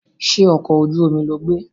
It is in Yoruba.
Ṣé ọkọ̀ ojú omi lo gbé?